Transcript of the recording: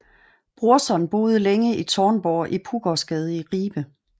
Brorson boede længe i Taarnborg i Puggårdsgade i Ribe